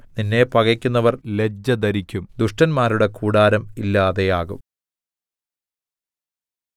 നിന്നെ പകക്കുന്നവർ ലജ്ജ ധരിക്കും ദുഷ്ടന്മാരുടെ കൂടാരം ഇല്ലാതെയാകും